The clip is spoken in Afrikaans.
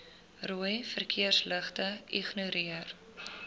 rooi verkeersligte ignoreer